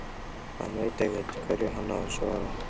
Hann veit ekkert hverju hann á að svara.